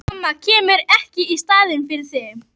Mamma kemur ekki í staðinn fyrir þig.